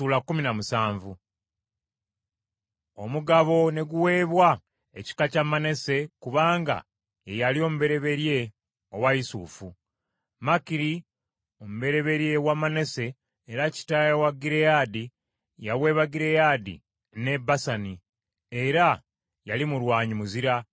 Omugabo ne guweebwa ekika kya Manase kubanga ye yali omubereberye owa Yusufu. Makiri omubereberye wa Manase era kitaawe wa Gireyaadi yaweebwa Gireyaadi ne Basani, era yali mulwanyi muzira.